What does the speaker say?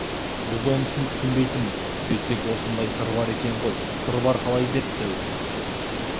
біз онысын түсінбейтінбіз сөйтсек осындай сыр бар екен ғой сыр бар қалай деп дәуіт